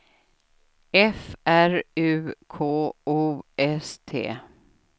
F R U K O S T